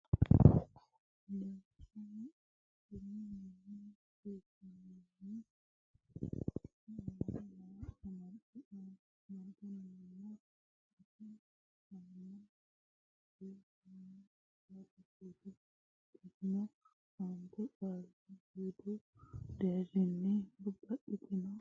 Lawishsha macciishsh anni macciishshinanniha Rosiishsha Qaali suude Qaale hasaamb eemmo waa amad nna amad ino nna gat anno nke yya Qaali suude Babbada Aante qaalla qaali suudu deerrinni babbaddine daftari nera.